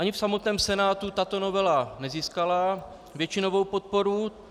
Ani v samotném Senátu tato novela nezískala většinovou podporu.